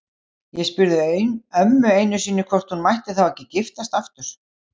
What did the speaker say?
Ég spurði ömmu einu sinni hvort hún mætti þá ekki giftast aftur.